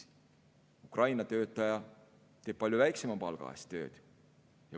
Ukraina töötaja teeb tööd palju väiksema palga eest.